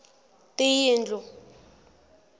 tiyindlu